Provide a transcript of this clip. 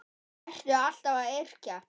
Ertu alltaf að yrkja?